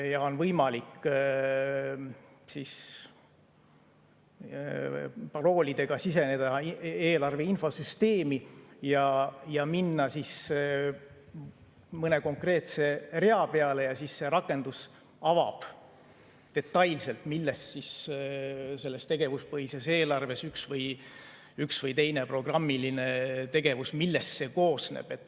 Ja on võimalik paroolidega siseneda eelarve infosüsteemi ja minna mõne konkreetse rea peale, siis see rakendus avab detailselt, millest selles tegevuspõhises eelarves üks või teine programmiline tegevus koosneb.